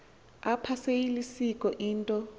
apha seyilisiko into